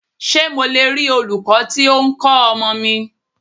Ṣé mo le rí olūkọ́ tí o ń kọ́ ọmọ mi?